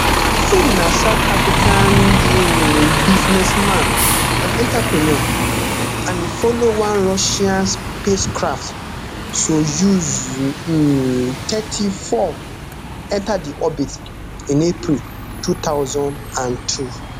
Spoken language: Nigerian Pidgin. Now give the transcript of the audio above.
im na south african um businessman and entrepreneur and e follow one russian spacecraft soyuz um tmthirty-four enta di orbit in april two thousand and two